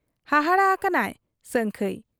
ᱦᱟᱦᱟᱲᱟ ᱦᱟᱠᱟᱱᱟᱭ ᱥᱟᱹᱝᱠᱷᱟᱹᱭ ᱾